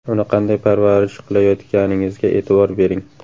Uni qanday parvarish qilayotganingizga e’tibor bering.